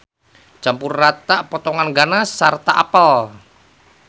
Campur rata potongan ganas sarta apel.